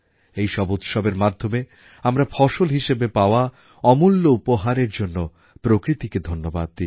এই সব উৎসবের মাধ্যমে আমরা ফসল হিসেবে পাওয়া অমূল্য উপহারের জন্য প্রকৃতিকে ধন্যবাদ দিই